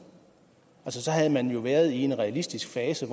så havde man jo været inde i en realistisk fase